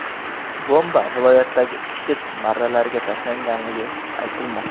Bomba viloyatdagi IShID marralariga tashlangani aytilmoqda.